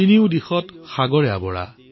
তিনিফালে সাগৰেৰে আৱৰি আছে